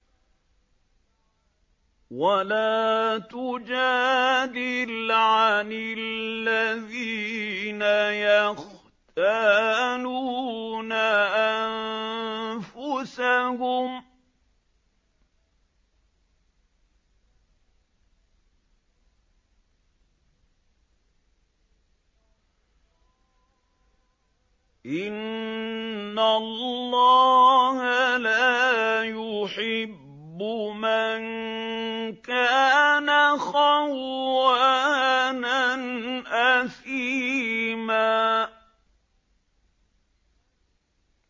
وَلَا تُجَادِلْ عَنِ الَّذِينَ يَخْتَانُونَ أَنفُسَهُمْ ۚ إِنَّ اللَّهَ لَا يُحِبُّ مَن كَانَ خَوَّانًا أَثِيمًا